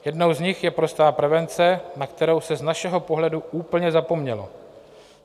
Jednou z nich je prostá prevence, na kterou se z našeho pohledu úplně zapomnělo.